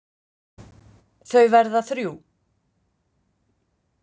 Þau verða þrjú.